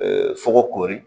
sogo koori